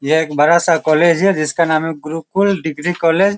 ये एक बड़ा सा कॉलेज है जिसका नाम है गुरुकुल डिग्री कॉलेज ।